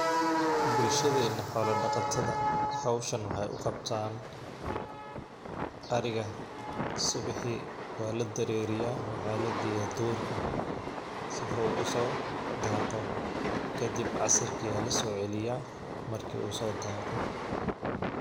Bulshadena xola daqatadha howshan waxay u qabtan, ariga subixi wala dareriyaah maxaa lageyah durka, sifo uu usodaqo kadib casirki aa lasoceliyaah marki uu so daqoh.